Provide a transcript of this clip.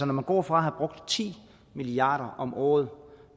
når man går fra at have brugt ti milliard kroner om året